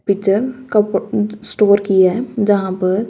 kitchen store किए हुए हैं जहां पर--